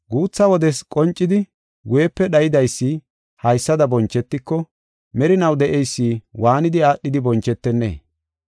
Guutha wodes qoncidi guyepe dhaydaysi haysada bonchetiko, merinaw de7eysi waanidi aadhidi bonchetennee?